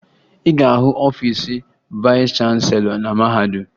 Ị ga-ahụ ọfiisi vayịs chanselọ na mahadum